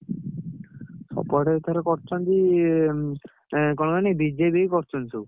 ସବୁଆଡେ ଏଥର କରିଛନ୍ତି ଏଁ, ଏଁ କଣ କହନି BJP କୁ କରୁଛନ୍ତି ସବୁ।